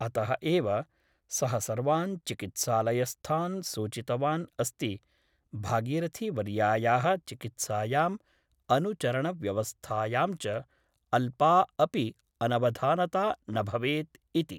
अतः एव सः सर्वान् चिकित्सालयस्थान् सूचितवान् अस्ति भागीरथीवर्यायाः चिकित्सायाम् अनुचरणव्यवस्थायां च अल्पा अपि अनवधानता न भवेत् इति ।